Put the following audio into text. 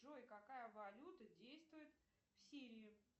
джой какая валюта действует в сирии